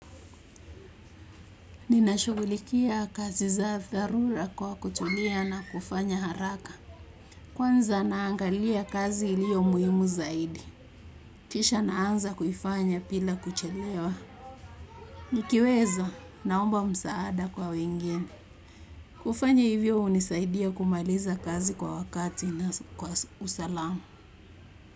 Ninashughulikia kazi za dharura kwa kutulia na kufanya haraka. Kwanza naangalia kazi ilio muhimu zaidi. Kisha naanza kufanya bila kuchelewa. Nikiweza naomba msaada kwa wengine. Kufanya hivyo hunisaidia kumaliza kazi kwa wakati na kwa usalama.